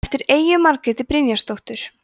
eftir eyju margréti brynjarsdóttur